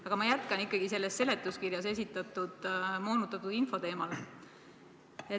Aga ma jätkan ikkagi seletuskirjas esitatud moonutatud info teemal.